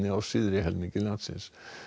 á syðri helmingi landsins